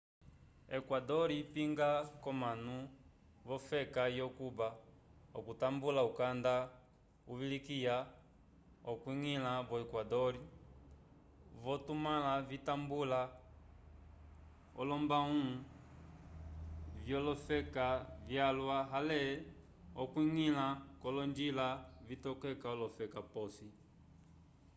equador ipinga k'omanu v'ofeka yo-cuba okutambula ukanda uvilikiya okwiñgila vo equador k'ovitumãlo vitambula olombalãwu vyolofeka vyalwa ale okwiñgila k'olonjila vitokeka olofeka p'osi